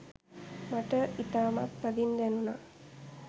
මට ඉතාමත් තදින් දැනුනා